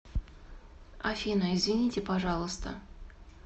афина извините пожалуйста